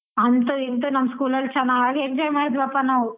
ಅಂತು ಇಂತು ನಮ್ school ಅಲ್ಲಿ ಚೆನ್ನಾಗ್ enjoy ಮಾಡಿದ್ವಪ್ಪ ನಾವು.